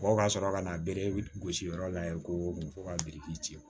Mɔgɔw ka sɔrɔ ka na bere gosi yɔrɔ la yen ko fo ka biriki ci